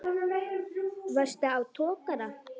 Varstu á togara?